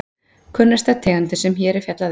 Kunnasta tegundin sem hér er fjallað um.